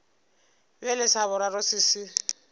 bjale sa boraro se se